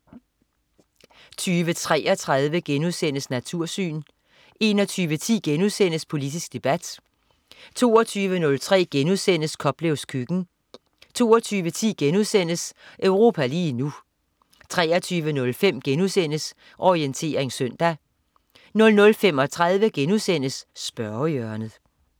20.33 Natursyn* 21.10 Politisk debat* 22.03 Koplevs køkken* 22.10 Europa lige nu* 23.05 Orientering søndag* 00.35 Spørgehjørnet*